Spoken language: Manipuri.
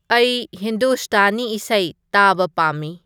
ꯑꯩ ꯍꯤꯟꯗꯨꯁꯇꯥꯅꯤ ꯏꯁꯩ ꯇꯥꯕ ꯄꯥꯝꯃꯤ